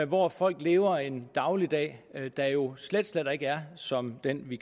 hvor folk lever en dagligdag der jo slet slet ikke er som den vi